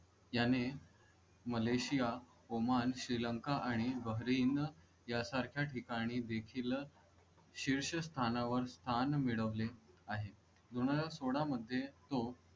याने Malaysia, Oman, Sri Lanka आणि Bahrain या सारख्या ठिकाणी देखील शीर्ष स्थानावर स्थान मिळवले आहे. दोन हजार सोळा मध्ये तो.